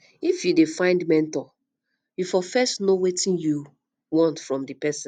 if you dey find mentor you fo first know wetin you want from di person